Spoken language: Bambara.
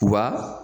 Wa